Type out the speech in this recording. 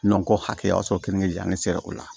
ko hakɛ o y'a sɔrɔ keninke jan ne ser'o la